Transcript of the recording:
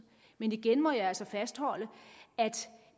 men igen må jeg altså fastholde at